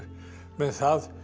með það